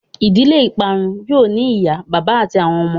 Ìdílé ìparun yóó ní ìyá bàbá àti àwọn ọmọ.